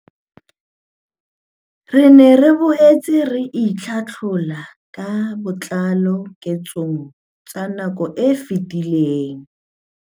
Re ne re boetse re itlhohlolla ka botlalo diketsong tsa nako e fetileng.